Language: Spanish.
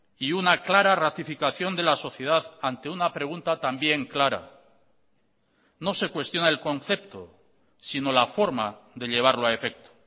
y una clara ratificación de la sociedad ante una pregunta también clara no se cuestiona el concepto sino la forma de llevarlo a efecto